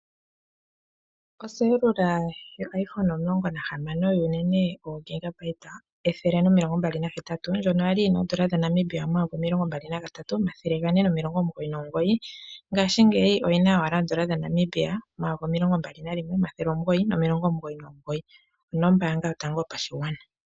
Oselula yoiphone omulongo nahamano yogegabita ethele nomilongo mbali nahetatu ndyono kwali yina oondola dhaNamibia omayovi omilongo mbali nagatatu omathele gane noulongo omugoyi nomigoyi ngaashi ngeyi oyina owala oondola dhaNamibia omayovi omilongo mbali nalimwe omathele omugoyi nomilongo omugoyi nimugoyi nombanga yotango yopashigwana.